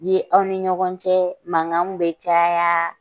Ye aw ni ɲɔgɔn cɛ, mankanw bɛ caya